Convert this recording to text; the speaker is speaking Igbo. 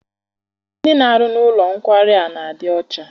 Ndị na-arụ n'ụlọ nkwari a n'adi ọcha.